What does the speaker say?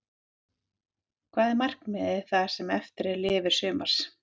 Hvað er markmiðið það sem eftir lifir sumars?